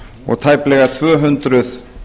og tæplega tvö hundruð